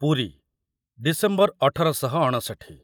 Puri December ଅଠର ଶହ ଅଣଷଠୀ